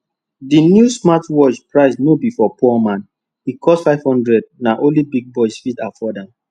di new smartwatch price no be for poor man e cost 500 na only big boys fit afford am